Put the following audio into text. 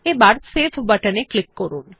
এবার save button এ click করুন